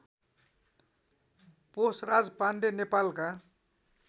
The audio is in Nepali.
पोषराज पाण्डे नेपालका